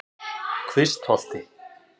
Kvistholti